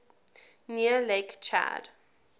near lake chad